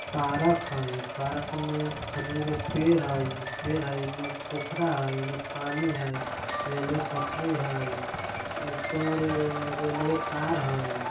पारक हय पारक में खजूर के पेड़ हय पेड़ हय इने पोखरा हय ओय में पानी हय रेलवे पटरी हय ऊपर रेलवे तार हय।